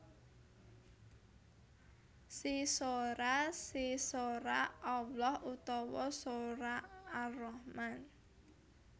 Sesoraa Sesoraa Allah utawa soraa Ar Rahman